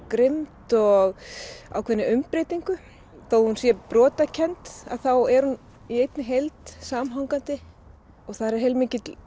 grimmd og ákveðinni umbreytingu þó hún sé brotakennd að þá er hún í einni heild samhangandi og það er heilmikill